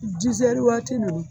dizɛri waati nunnu